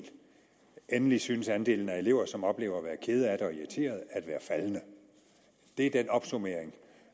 endelig synes andelen af elever som oplever at være kede af det og irriterede at være faldende det er den opsummering